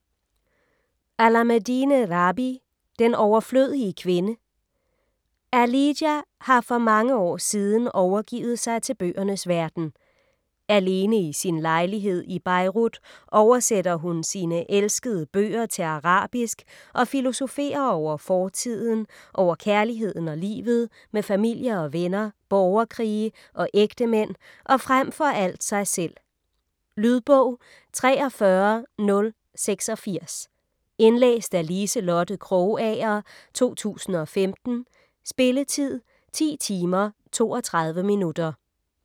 Alameddine, Rabih: Den overflødige kvinde Aaliya har for mange år siden overgivet sig til bøgernes verden. Alene i sin lejlighed i Beirut oversætter hun sine elskede bøger til arabisk og filosoferer over fortiden, over kærligheden og livet, med familie og venner, borgerkrige og ægtemænd og frem for alt sig selv. Lydbog 43086 Indlæst af Liselotte Krogager, 2015. Spilletid: 10 timer, 32 minutter.